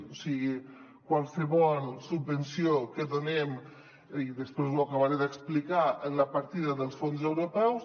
o sigui qualsevol subvenció que donem i després ho acabaré d’explicar en la partida dels fons europeus